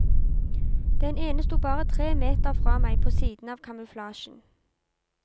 Den ene sto bare tre meter fra meg på siden av kamuflasjen.